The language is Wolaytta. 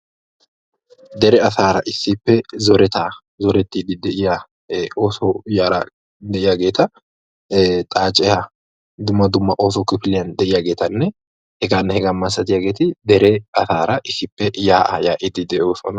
Deree asara issippe zoretta zortetidd ooso yaratti xaacettura issippe yaa'a yaa'osonna.